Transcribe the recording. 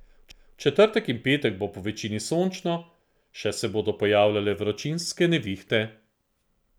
V četrtek in petek bo povečini sončno, še se bodo pojavljale vročinske nevihte.